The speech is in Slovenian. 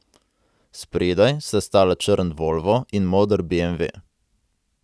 Spredaj sta stala črn volvo in moder beemve.